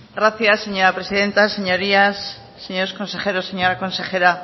gracias señora presidenta señorías señores consejeros señora consejera